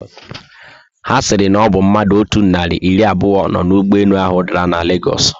Ha siri na obu mmadụ otú nari iri abuo no na ụgbọelu ahu dara na Lagosu.